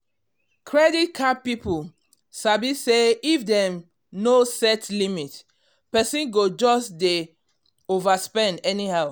credit card people sabi say if dem no set limit person go just dey overspend anyhow.